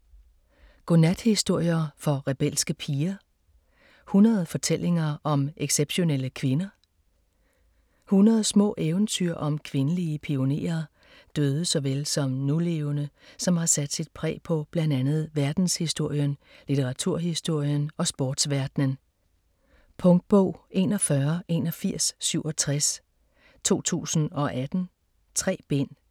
Godnathistorier for rebelske piger: 100 fortællinger om exceptionelle kvinder 100 små eventyr om kvindelige pionerer, døde såvel som nulevende, som har sat sit præg på blandt andet verdenshistorien, litteraturhistorien og sportsverdenen. Punktbog 418167 2018. 3 bind.